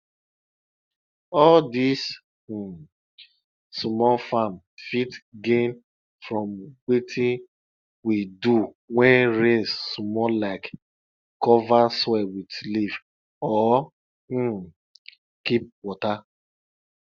all dis um small farm fit gain from wetin we do wen rain small like cover soil with leaf or um keep water